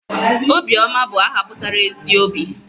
Obiọma bụ aha pụtara 'ezi obi'